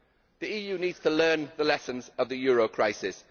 The EU needs to learn the lessons of the euro crisis.